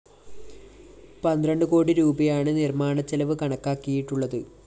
പന്ത്രണ്ടു കോടി രൂപയാണ് നിര്‍മ്മാണച്ചെലവ് കണക്കാക്കിയിട്ടുള്ളത്